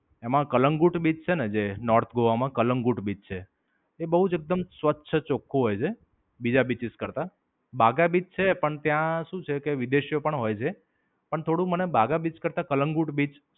એમાં કલમગોટ બીચ છે ને જે North Goa માં કલમગોટ બીચ છે એ બોવ જ એકદમ સ્વચ્છ ચોખ્ખું હોય છે. બીજા beaches કરતા. બાઘા બીચ છે પણ ત્યાં શું છે કે વિદેશીઓ પણ હોય છે. અને થોડું મને બાઘા બીચ કરતા કલમગોટ બીચ